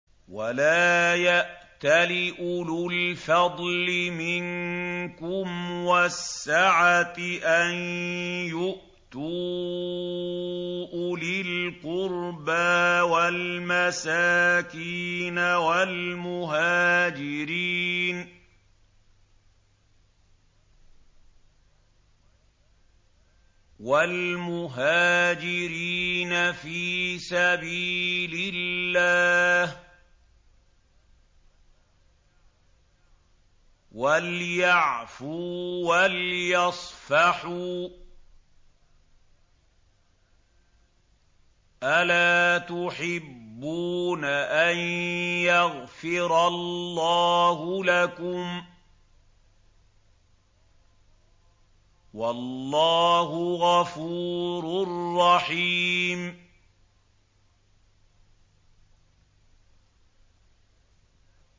وَلَا يَأْتَلِ أُولُو الْفَضْلِ مِنكُمْ وَالسَّعَةِ أَن يُؤْتُوا أُولِي الْقُرْبَىٰ وَالْمَسَاكِينَ وَالْمُهَاجِرِينَ فِي سَبِيلِ اللَّهِ ۖ وَلْيَعْفُوا وَلْيَصْفَحُوا ۗ أَلَا تُحِبُّونَ أَن يَغْفِرَ اللَّهُ لَكُمْ ۗ وَاللَّهُ غَفُورٌ رَّحِيمٌ